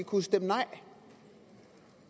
kunne stemme nej